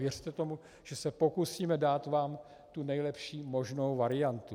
Věřte tomu, že se pokusíme dát vám tu nejlepší možnou variantu.